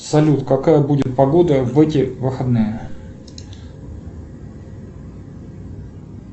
салют какая будет погода в эти выходные